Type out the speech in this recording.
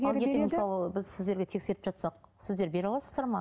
ал ертең мысалы біз сіздерге тексертіп жатсақ сіздер бере аласыздар ма